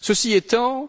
Ceci étant,